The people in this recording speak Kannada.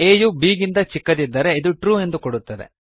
a ಯು b ಗಿಂತ ಚಿಕ್ಕದಿದ್ದರೆ ಇದು ಟ್ರು ಎಂದು ಕೊಡುತ್ತದೆ